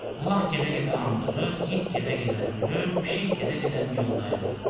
Ulaq gedə-gedə anqırır, it gedə-gedə hürür, pişik gedə-gedə miyoldayırdı.